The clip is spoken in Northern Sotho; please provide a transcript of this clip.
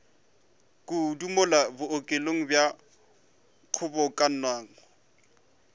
kudu mola bookelong bja kgobokanang